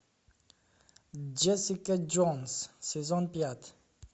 джессика джонс сезон пять